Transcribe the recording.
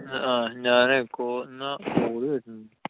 ആഹ് ഞാനെ കൊ~ call വരുന്നുണ്ട്.